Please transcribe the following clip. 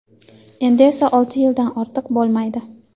endi esa olti yildan ortiq bo‘lmaydi.